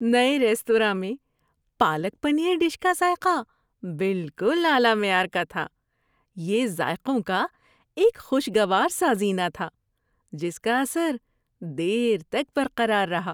نئے ریستوراں میں پالک پنیر ڈش کا ذائقہ بالکل اعلی معیار کا تھا۔ یہ ذائقوں کا ایک خوشگوار سازینہ تھا جس کا اثر دیر تک برقرار رہا۔